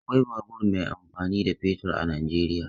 Akwai babur mai amfani da fetur a Najeriya.